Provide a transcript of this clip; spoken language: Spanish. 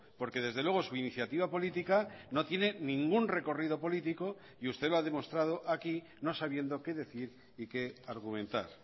porque desde luego su iniciativa política no tiene ningún recorrido político y usted lo ha demostrado aquí no sabiendo qué decir y qué argumentar